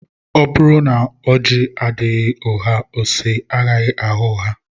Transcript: Ọ bụrụ na ọji aghaghị ụgha ose agaghị agha ụgha